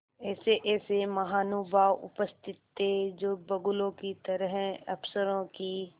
ऐसेऐसे महानुभाव उपस्थित थे जो बगुलों की तरह अफसरों की